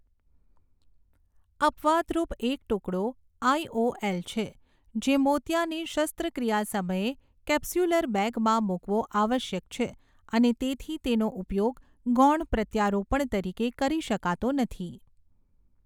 અપવાદરૂપ એક ટુકડો આઈઓએલ છે, જે મોતિયાની શસ્ત્રક્રિયા સમયે કેપ્સ્યુલર બેગમાં મૂકવો આવશ્યક છે અને તેથી તેનો ઉપયોગ ગૌણ પ્રત્યારોપણ તરીકે કરી શકાતો નથી.